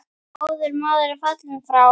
Góður maður er fallinn frá.